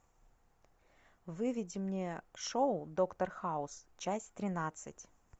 выведи мне шоу доктор хаус часть тринадцать